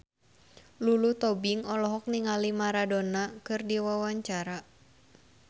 Lulu Tobing olohok ningali Maradona keur diwawancara